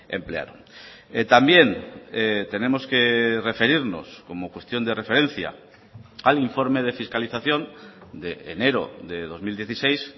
emplearon también tenemos que referirnos como cuestión de referencia al informe de fiscalización de enero de dos mil dieciséis